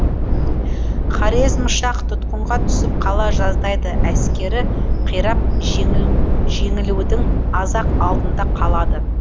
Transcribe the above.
хорезм шах тұтқынға түсіп қала жаздайды әскері қирап жеңілудің аз ақ алдында қалады